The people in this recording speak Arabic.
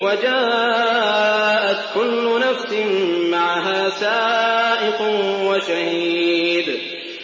وَجَاءَتْ كُلُّ نَفْسٍ مَّعَهَا سَائِقٌ وَشَهِيدٌ